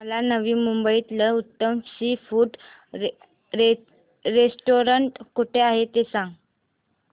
मला नवी मुंबईतलं उत्तम सी फूड रेस्टोरंट कुठे आहे ते सांग